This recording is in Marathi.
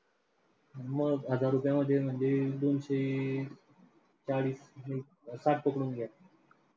मग हजार रुपये मध्ये म्हणजे दोनशे चाळीस साठ पकडून घ्या.